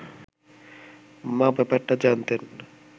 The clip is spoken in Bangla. মা ব্যাপারটা জানতেন